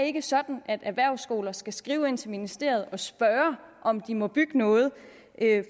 ikke sådan at erhvervsskoler skal skrive ind til ministeriet og spørge om de må bygge noget